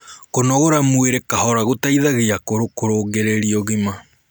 kũnogora mwĩrĩ kahora gũteithagia akũrũ kurungirirĩa ũgima